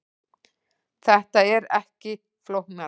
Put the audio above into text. Þetta er ekki flóknara